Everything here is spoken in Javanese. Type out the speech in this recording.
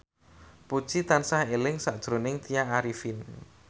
Puji tansah eling sakjroning Tya Arifin